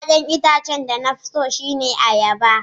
Ya'yan itacen da na fi so shine ayaba.